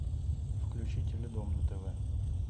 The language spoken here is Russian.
включи теледом на тв